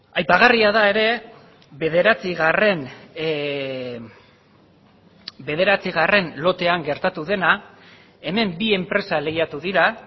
aipagarria da ere bederatzigarren bederatzigarren lotean gertatu dena hemen bi enpresa lehiatu dira